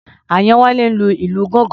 Àyánwálé ń lu ìlù gángan.